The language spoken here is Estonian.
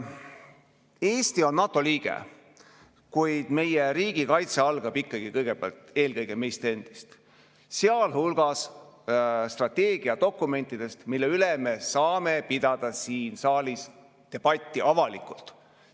Eesti on NATO liige, kuid meie riigikaitse algab ikkagi eelkõige meist endist, sealhulgas strateegiadokumentidest, mille üle me saame pidada siin saalis debatti avalikult.